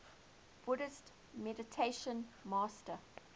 buddhist meditation master